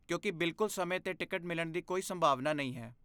ਕਿਉਂਕਿ ਬਿਲਕੁਲ ਸਮੇਂ 'ਤੇ ਟਿਕਟ ਮਿਲਣ ਦੀ ਕੋਈ ਸੰਭਾਵਨਾ ਨਹੀਂ ਹੈ।